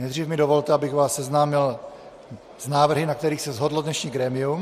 Nejdřív mi dovolte, abych vás seznámil s návrhy, na kterých se shodlo dnešní grémium: